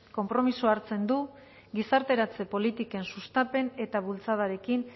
konpromiso hartzen du gizarteratze politiken sustapen eta bultzadarekin